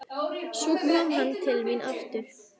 Svo kom hann til mín aftur.